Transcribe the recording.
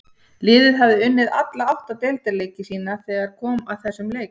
Liðið hafði unnið alla átta deildarleiki sína þegar kom að þessum leik.